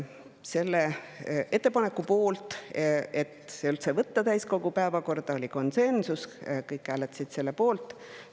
Selle ettepaneku puhul, et see üldse võtta täiskogu päevakorda, oli konsensus, kõik hääletasid selle poolt.